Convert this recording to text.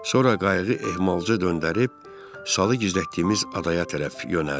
Sonra qayıqı ehmalcə döndərib salı gizlətdiyimiz adaya tərəf yönəldik.